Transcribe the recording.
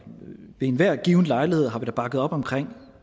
ved enhver given lejlighed har vi bakket op om